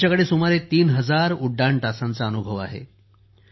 त्यांच्याकडे सुमारे 3000 उड्डाण तासांचा अनुभव आहे